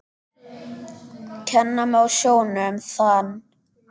Kenna má á sjónum þann.